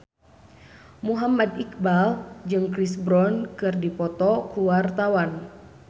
Muhammad Iqbal jeung Chris Brown keur dipoto ku wartawan